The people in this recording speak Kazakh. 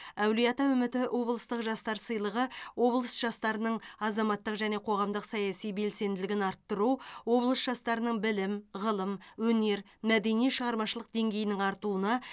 әулиеата үміті облыстық жастар сыйлығы облыс жастарының азаматтық және қоғамдық саяси белсенділігін арттыру облыс жастарының білім ғылым өнер мәдени шығармашылық деңгейінің артуына